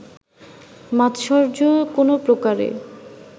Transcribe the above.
মাৎসর্য কোনো প্রকারে